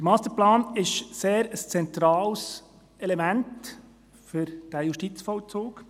Der Masterplan ist ein sehr zentrales Element für diesen Justizvollzug.